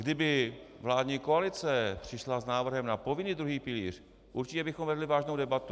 Kdyby vládní koalice přišla s návrhem na povinný druhý pilíř, určitě bychom vedli vážnou debatu.